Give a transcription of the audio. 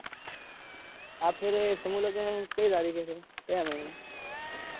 આ ફેરે સમૂહ લગન કયી તારીખે છે. ક્યાં મહિના માં